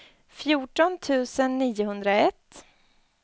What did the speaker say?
fjorton tusen niohundraett